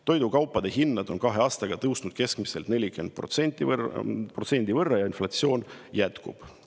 Toidukaupade hinnad on kahe aastaga tõusnud keskmiselt 40% võrra ja inflatsioon jätkub.